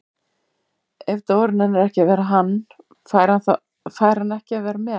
Ef Dóri nennir ekki að vera hann, fær hann ekki að vera með